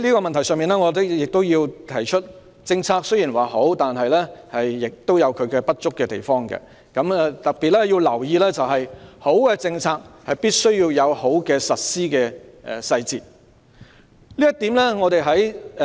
代理主席，我亦要指出，政策雖然好，但亦有不足的地方，要特別留意的是，好的政策必須有好的實施細節。